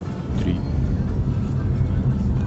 три